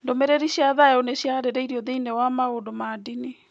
Ndũmĩrĩri cia thayũ nĩ ciarĩrĩirio thĩinĩ wa maũndũ ma ndini.